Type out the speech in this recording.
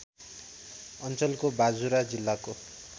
अञ्चलको बाजुरा जिल्लाको